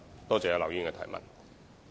多謝劉議員的質詢。